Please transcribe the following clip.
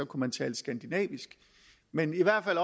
kunne man tale skandinavisk men i hvert fald